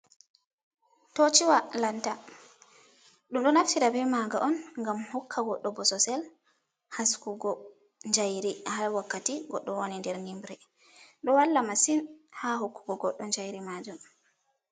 Tochiwa lanta. Ɗum ɗo naftira be maga on ngam hokka goɗɗo bososel haskugo jayri ha wakkati goɗɗo woni nder nyimre ɗo walla masin ha hokkugo goddo jayri majum.